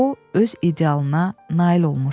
o öz idealına nail olmuşdu.